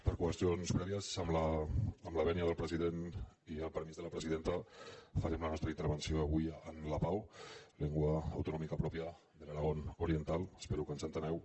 per qüestions prèvies amb la vènia del president i el permís de la presidenta farem la nostra intervenció avui en lapao lengua autonómica propia del aragón oriental espero que ens entengueu